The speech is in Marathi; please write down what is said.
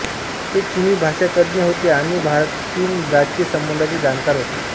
ते चिनी भाषातज्ज्ञ होते आणि भारतचीन राजकीय संबंधाचे जाणकार होते